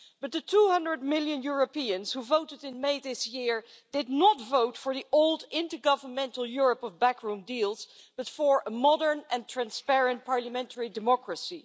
But the 200 million Europeans who voted in May this year did not vote for the old intergovernmental Europe of backroom deals, but for a modern and transparent parliamentary democracy.